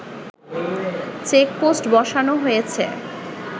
checkpost বসানো হয়েছে